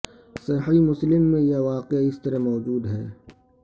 صحیح مسلم میں یہ واقعہ اس طرح موجود ہے